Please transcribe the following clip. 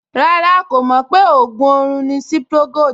Rárá, kò mọ̀ pé ògùn orun ni Cipri Gold